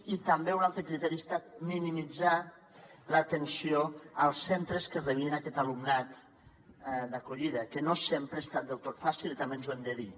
i també un altre criteri ha estat minimitzar l’atenció als centres que rebien aquest alumnat d’acollida que no sempre ha estat del tot fàcil també ens ho hem de dir